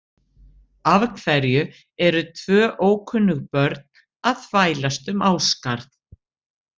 Af hverju eru tvö ókunnug börn að þvælast um Ásgarð?